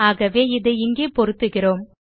ஆகவே இதை இங்கே பொருத்துகிறோம்